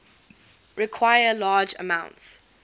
require large amounts